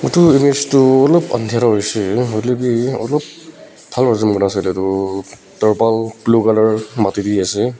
tu image olop andhira hoishey hoilae bi bhal pa zoom kurna sailae tu tarpal blue colour mati tae ase.